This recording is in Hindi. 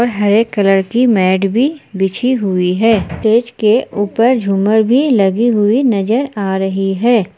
हरे कलर की मैट भी बिछी हुई है स्टेज के ऊपर झूमर भी लगी हुई नजर आ रही है।